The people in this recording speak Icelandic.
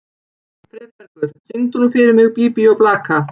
Friðbergur, syngdu fyrir mig „Bí bí og blaka“.